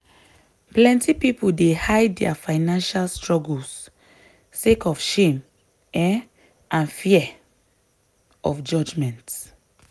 plenty people dey hide dia financial struggles sake of shame um and fear of judgment.